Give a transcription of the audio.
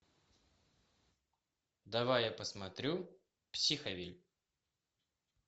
давай я посмотрю психовилль